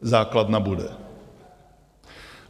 základna bude.